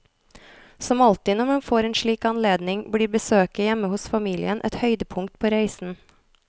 Som alltid når man får en slik anledning, blir besøket hjemme hos familien et høydepunkt på reisen.